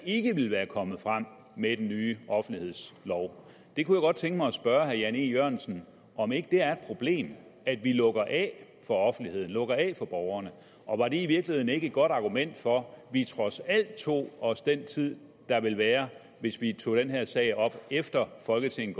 ikke ville være kommet frem med den nye offentlighedslov jeg kunne godt tænke mig at spørge herre jan e jørgensen om ikke det er problem at vi lukker af for offentligheden lukker af for borgerne og var det i virkeligheden ikke et godt argument for vi trods alt tog os den tid der ville være hvis vi tog den her sag op efter folketinget